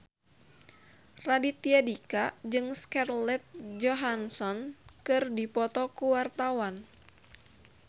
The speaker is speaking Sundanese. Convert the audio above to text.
Raditya Dika jeung Scarlett Johansson keur dipoto ku wartawan